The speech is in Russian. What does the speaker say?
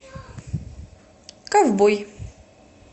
ковбой